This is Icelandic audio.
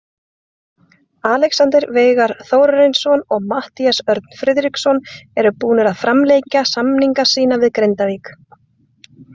Alexander Veigar Þórarinsson og Matthías Örn Friðriksson eru búnir að framlengja samninga sína við Grindavík.